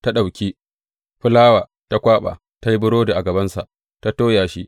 Ta ɗauki fulawa, ta kwaɓa, ta yi burodi a gabansa ta toya shi.